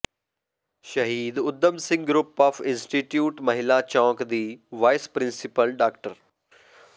ਸ਼ਹੀਦ Udham Singh group of institution Mehlan Chowk ਦੀ vice principal ਡਾ